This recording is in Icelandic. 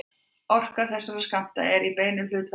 Orka þessara skammta er í beinu hlutfalli við tíðnina.